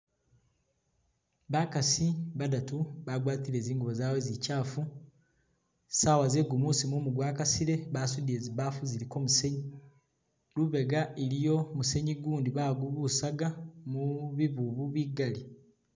Bakaasi badatu bhagwati zingubo zabwe zichafu, saawa ze gumuusi mumu gwa kasile basudile zibaafu ziliko musenyu, lubeega musenyu gundi bagubusaka mu bibubu bigaali.